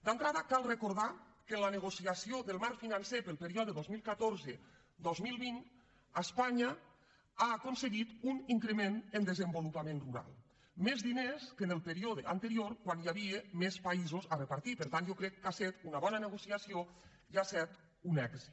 d’entrada cal recordar que en la negociació del marc financer per al període dos mil catorze dos mil vint espanya ha aconseguit un increment en desenvolupament rural més diners que en el període anterior quan hi havia més països a repartir per tant jo crec que ha set una bona negociació i ha set un èxit